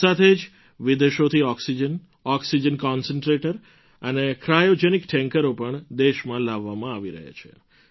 સાથે જ વિદેશોથી ઑક્સિજન ઑક્સિજન કન્સન્ટ્રેટર અને ક્રાયૉજેનિક ટૅન્કરો પણ દેશમાં લાવવામાં આવી રહ્યાં છે